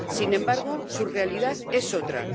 Sin embargo, su realidad es otra.